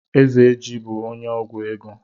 Ezeji bú onye ọgwụ ego.